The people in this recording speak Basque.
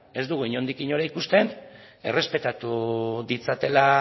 ez dugu inondik inora ikusten errespetatu ditzatela